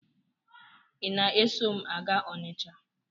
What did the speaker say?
Ị na-eso m a gaa Ọnịcha?